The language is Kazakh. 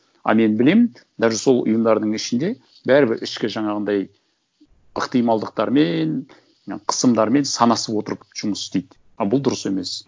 а мен білемін даже сол ұйымдардың ішінде бәрібір ішкі жаңағындай ықтималдықтармен қысымдармен санасып отырып жұмыс істейді а бұл дұрыс емес